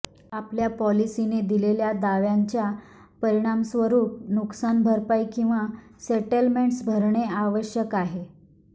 आपल्या पॉलिसीने दिलेल्या दाव्यांच्या परिणामस्वरूप नुकसान भरपाई किंवा सेटलमेंट्स भरणे आवश्यक आहे